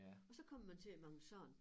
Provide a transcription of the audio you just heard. Og så kommer man til at mangle sand